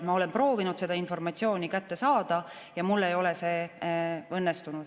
Ma olen proovinud seda informatsiooni kätte saada, aga mul ei ole see õnnestunud.